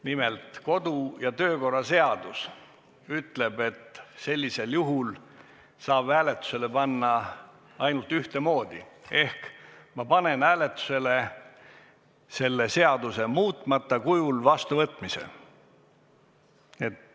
Nimelt, kodu- ja töökorra seadus ütleb, et sellisel juhul saab seaduse hääletusele panna ainult ühtemoodi: ma panen hääletusele selle seaduse muutmata kujul vastuvõtmise.